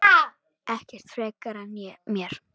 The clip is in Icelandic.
Ekkert frekar en mér.